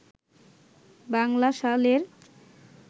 বাংলা সালের